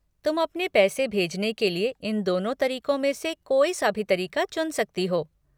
तुम अपने पैसे भेजने के लिए इन दोनों तरीको में से कोई सा भी तरीका चुन सकती हो।